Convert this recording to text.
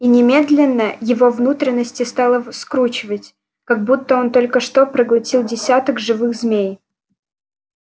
и немедленно его внутренности стало скручивать как будто он только что проглотил десяток живых змей